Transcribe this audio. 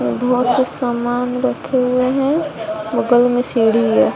बहोत से सामान रखे हुए हैं बगल में सीढ़ी है।